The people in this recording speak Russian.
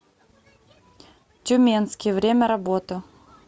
тюменский время работы